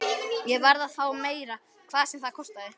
Ég varð að fá meira, hvað sem það kostaði.